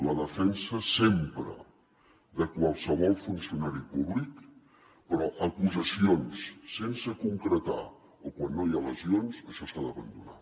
la defensa sempre de qualsevol funcionari públic però acusacions sense concretar o quan no hi ha lesions això s’ha d’abandonar